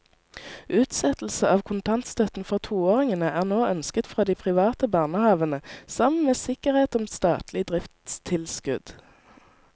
Utsettelse av kontantstøtten for toåringene er nå ønsket fra de private barnehavene sammen med sikkerhet om statlig driftstilskudd.